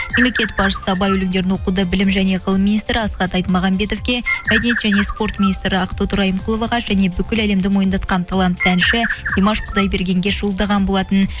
мемлекет басшысы абай өлеңдерін оқуды білім және ғылым министрі асхат айтмағанбетовке мәдениет және спорт министрі ақтоты райымқұловаға және бүкіл әлемді мойындатқан талантты әнші димаш құдайбергенге жолдаған болатын